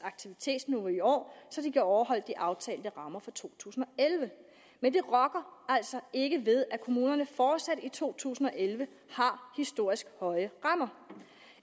aktivitetsniveau i år så de kan overholde de aftalte rammer for to tusind og elleve men det rokker altså ikke ved at kommunerne fortsat i to tusind og elleve har historisk høje rammer